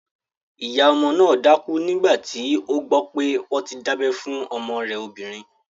Ìyá ọmọ náà dákú nígbàtí ó gbọ́ pé wọ́n ti dábẹ́ fún ọmọ rẹ̀ obìnrin